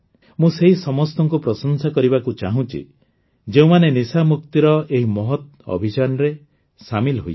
ମୁଁ ସେହି ସମସ୍ତଙ୍କୁ ପ୍ରଶଂସା କରିବାକୁ ଚାହୁଁଛି ଯେଉଁମାନେ ନିଶାମୁକ୍ତିର ଏହି ମହତ୍ ଅଭିଯାନରେ ସାମିଲ ହୋଇଛନ୍ତି